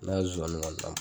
N'a ye zonsanninw ka .